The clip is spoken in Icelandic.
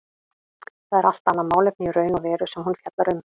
Það er allt annað málefni í raun og veru sem hún fjallar um.